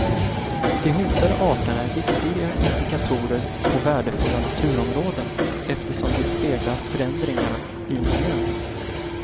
De hotade arterna är viktiga indikatorer på värdefulla naturområden, eftersom de speglar förändringar i miljön.